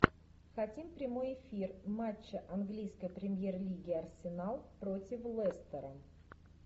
хотим прямой эфир матча английской премьер лиги арсенал против лестера